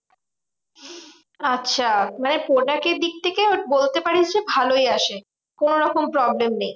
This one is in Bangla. আচ্ছা মানে product এর দিক থেকে বলতে পারিস যে ভালোই আসে। কোনোরকম problem নেই।